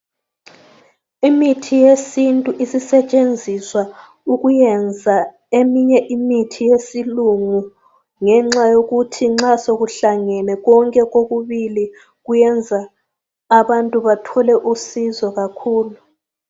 Imithi yesintu isisetshenziswa ukuyenza eminye imithi yesilungu ngenxa yokuthi nxa sokuhlangene konke kokubili kuyenza abantu bathole usizo kakhulu.